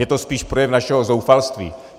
Je to spíš projev našeho zoufalství.